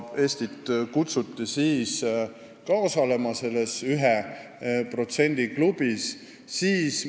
Eestit kutsuti siis ka selles 1% klubis osalema.